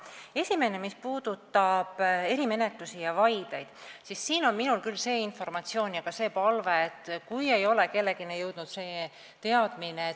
Esiteks, mis puudutab erimenetlusi ja vaideid, siis minul on küll palve levitada järgnevat informatsiooni neile, kellel seda teadmist ei ole.